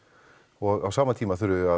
og á sama tíma þurfum við að